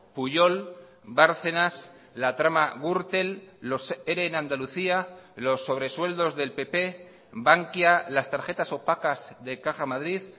pujol bárcenas la trama gürtel los ere en andalucía los sobresueldos del pp bankia las tarjetas opacas de caja madrid